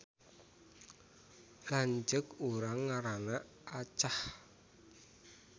Lanceuk urang ngaranna Acah